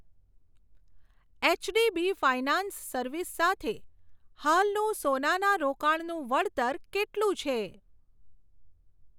HDB finance service સાથે હાલનું સોનાના રોકાણનું વળતર કેટલું છે?